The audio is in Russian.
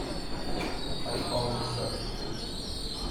айфон икс р